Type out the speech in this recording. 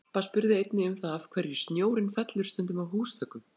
Harpa spurði einnig um það af hverju snjórinn fellur stundum af húsþökum?